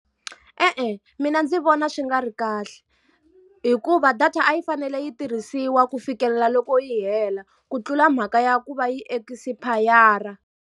E-e mina ndzi vona swi nga ri kahle. Hikuva data a yi fanele yi tirhisiwa ku fikelela loko yi hela ku tlula mhaka ya ku va yi espayara.